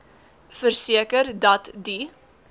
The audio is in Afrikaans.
verseker dat die